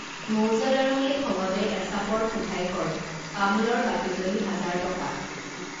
মৌজাদাৰনীয়ে খঙতে এচাপৰ শোধায় কয় তামোলৰ বাকী যদি হাজাৰ টকা